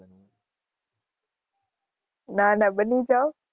ના ના બની જાવ.